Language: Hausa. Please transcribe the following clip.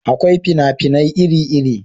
Akwai fina-finai iri iri